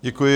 Děkuji.